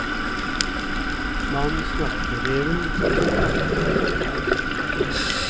Mannen snakket til reven, som til de andre to.